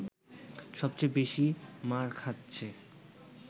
সব চেয়ে বেশি মার খাচ্ছে